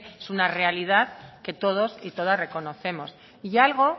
es una realidad que todos y todas reconocemos y algo